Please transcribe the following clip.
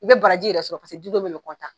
I be baraji yɛrɛ sɔrɔ paseke dun bɛɛ de bi